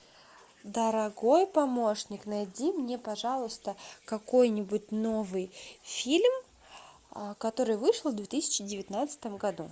дорогой помощник найди мне пожалуйста какой нибудь новый фильм который вышел в две тысячи девятнадцатом году